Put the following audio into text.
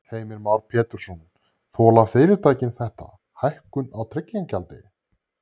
Heimir Már Pétursson: Þola fyrirtækin þetta, hækkun á tryggingagjaldi?